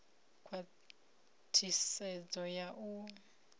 u ṋea khwathisedzo ya u